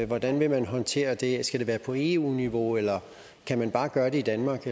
hvordan vil man håndtere det skal det være på eu niveau eller kan man bare gøre det i danmark